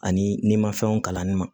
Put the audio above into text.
Ani ni ma fɛnw kalanni ma